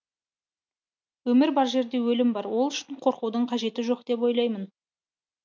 өмір бар жерде өлім бар ол үшін қорқудың қажеті жоқ деп ойлаймын